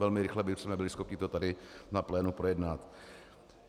Velmi rychle bychom byli schopni to tady na plénu projednat.